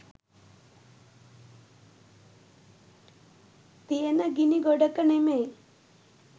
තියෙන ගිණි ගොඩක නෙමෙයි